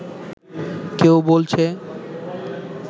কেউ বলছে